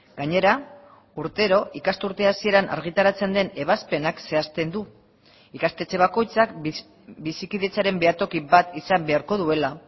gainera urtero ikasturte hasieran argitaratzen den ebazpenak zehazten du ikastetxe bakoitzak bizikidetzaren behatoki bat izan beharko duela